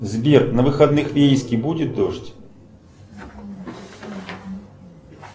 сбер на выходных в ейске будет дождь